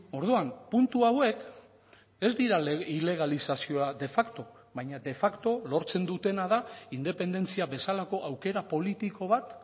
orduan puntu hauek ez dira ilegalizazioa de facto baina de facto lortzen dutena da independentzia bezalako aukera politiko bat